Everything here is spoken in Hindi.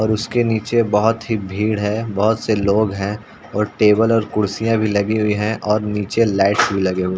और उसके नीचे बहोत ही भीड़ हैं बहोत से लोग हैं और टेबल और कुर्सियां भी लगी हुयी है और नीचे लाइटस भी लगी हुई हैं।